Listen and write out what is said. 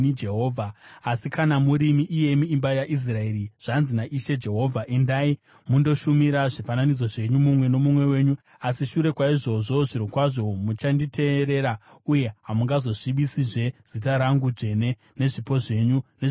“ ‘Asi kana murimi, iyemi imba yaIsraeri, zvanzi naIshe Jehovha: Endai mundoshumira zvifananidzo zvenyu, mumwe nomumwe wenyu! Asi shure kwaizvozvo zvirokwazvo muchanditeerera uye hamungazosvibisizve zita rangu dzvene nezvipo zvenyu nezvifananidzo zvenyu.